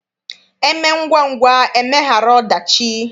E mee ngwangwa emeghara ọdachi.